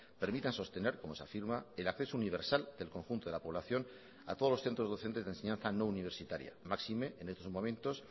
permitan sostener como se afirma el acceso universal del conjunto de la población a todos los centros docentes de enseñanza no universitaria máxime en estos momentos